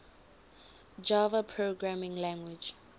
java programming language